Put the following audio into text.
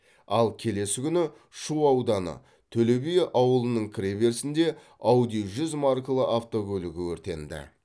ал келесі күні шу ауданы төле би ауылының кіре берісінде ауди жүз маркалы автокөлігі өртенді